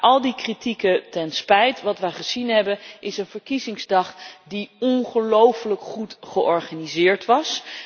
Maar al die kritieken ten spijt, wat we gezien hebben, is een verkiezingsdag die ongelofelijk goed georganiseerd was.